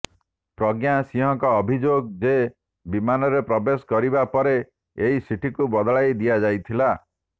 ପ୍ରଜ୍ଞା ସିଂହଙ୍କ ଅଭିଯୋଗ ଯେ ବିମାନରେ ପ୍ରବେଶ କରିବା ପରେ ଏହି ସିଟକୁ ବଦଳାଇ ଦିଆଯାଇଥିଲା